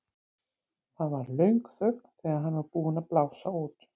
Það varð löng þögn þegar hann var búinn að blása út.